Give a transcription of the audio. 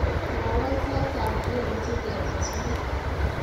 mwowon sait ab g.m.t getes muut